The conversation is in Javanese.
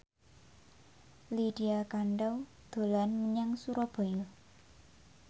Lydia Kandou dolan menyang Surabaya